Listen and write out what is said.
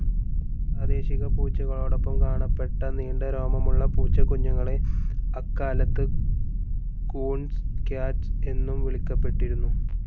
പ്രാദേശിക പൂച്ചകളോടൊപ്പം കാണപ്പെട്ട നീണ്ട രോമമുള്ള പൂച്ചക്കുഞ്ഞുങ്ങളെ അക്കാലത്ത് കൂൺസ് ക്യാറ്റ്‌സ് എന്നും വിളിക്കപ്പെട്ടിരുന്നു.